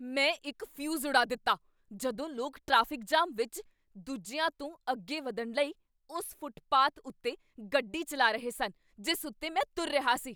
ਮੈਂ ਇੱਕ ਫਿਊਜ਼ ਉਡਾ ਦਿੱਤਾ ਜਦੋਂ ਲੋਕ ਟ੍ਰੈਫਿਕ ਜਾਮ ਵਿੱਚ ਦੂਜਿਆਂ ਤੋਂ ਅੱਗੇ ਵਧਣ ਲਈ ਉਸ ਫੁੱਟਪਾਥ ਉੱਤੇ ਗੱਡੀ ਚੱਲਾ ਰਹੇ ਸਨ ਜਿਸ ਉੱਤੇ ਮੈਂ ਤੁਰ ਰਿਹਾ ਸੀ।